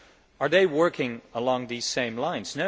Are they working along these same lines?